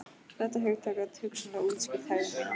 Þetta hugtak gat hugsanlega útskýrt hegðun mína.